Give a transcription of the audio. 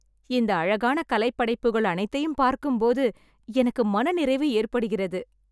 இந்த அழகான கலைப்படைப்புகள் அனைத்தையும் பார்க்கும் போது எனக்கு மனநிறைவு ஏற்படுகிறது.